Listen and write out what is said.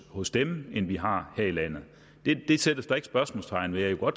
hos dem end vi har her i landet det sættes der ikke spørgsmålstegn ved og